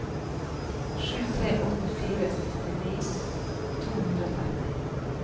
sju tre åtte fire syttini to hundre og tretti